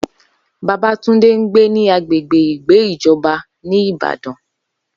Babatunde ń gbé ní agbègbè ìgbé ìjọba ní Ìbàdàn